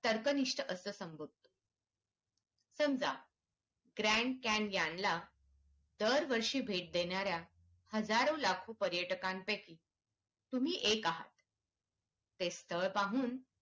तर्कनिष्ठ असं समज समजा ग्रँड कॅन्यन ला दर वर्षी भेट देणाऱ्या हजारो लाखो पर्यटकांपैकी पैकी तुम्ही एक आहेत ते स्थळ पाहून तर्कनिष्ठ अंस